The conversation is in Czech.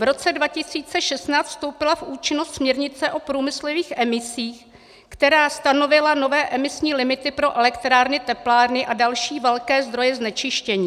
V roce 2016 vstoupila v účinnost směrnice o průmyslových emisích, která stanovila nové emisní limity pro elektrárny, teplárny a další velké zdroje znečištění.